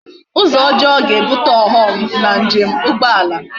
Uzo ojoo ga ebute oghom na njem ugboala